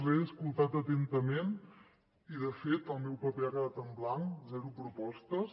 l’he escoltat atentament i de fet el meu paper ha quedat en blanc zero propostes